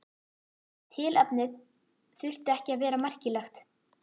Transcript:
Tilefnið þurfti ekki að vera merkilegt.